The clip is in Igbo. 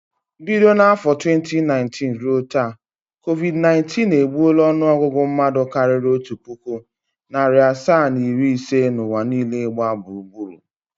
Bido n’afọ 2019 ruo taa, COVID_19 egbuola ọnụọgụgụ mmadụ karịrị otu puku, narị asaa na iri ise n’ụwa niile gba gburur.